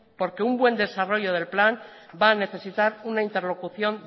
porque un buen desarrollo del plan va a necesitar una interlocución